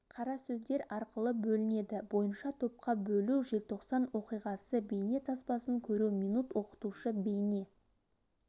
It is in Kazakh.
қаза сөздер арқылы бөлінеді бойынша топқа бөлу желтоқсан оқиғасы бейне таспасын көру минут оқытушы бейне